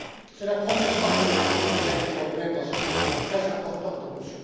C'est la première fois qu'on introduit des règles européennes dans ce secteur très important comme M.